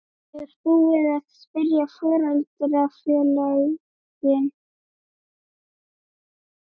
Er búið að spyrja foreldrafélögin?